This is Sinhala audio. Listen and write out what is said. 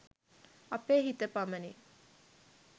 අපේ හිත පමණි